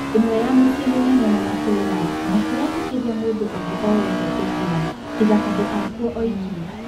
ĩmwe ya mĩciĩ mĩnene na matũũra matiretĩkĩria mũndũũngĩ o wothe kũingĩra tiga andũakuo oiki.